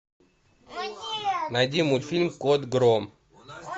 найди мультфильм кот гром